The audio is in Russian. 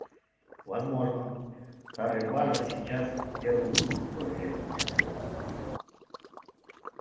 возможно старые базы сейчас первую выборку проверяют вручную